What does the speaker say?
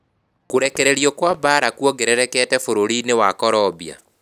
Kũrekererio kwa mbaara kũongererekete bũrũri-inĩ wa Colombia